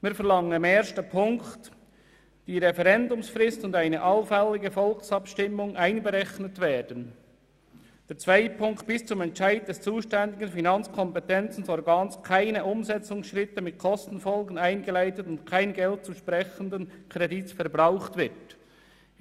Wir verlangen im ersten Punkt, dass «[…]die Referendumsfrist und eine allfällige Volksabstimmung einberechnet werden» und im zweiten, dass «[…]bis zum Entscheid des zuständigen finanzkompetenten Organs keine Umsetzungsschritte mit Kostenfolgen eingeleitet und kein Geld des zu sprechenden Kredits verbraucht wird».